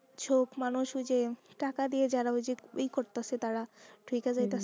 চোক মানুষ ওই যে টাকা দিয়ে যারা ওই যে করতাছে তারা থেকে যাইতাছে।